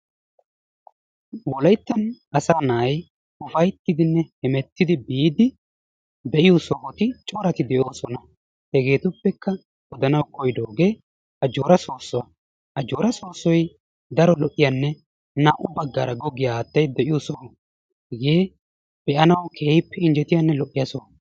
Wollayttan asaa naati uppayttiidinne heemmettidi biidi geliyoo sohotti corati de'oosona. Hegetuppekka odana koyidoogee ajoora soossuwaa. Ajoora soossoy daro go"iyaanne naa"u baggaara goggiyaa haattay de'iyoo sooho. Hegee bee"anawu keehippe injjettiyaanne lo"iyaa sooho.